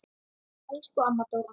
Elsku amma Dóra.